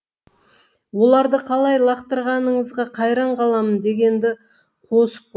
оларды қалай лақтырғаныңызға қайран қаламын дегенді қосып қойды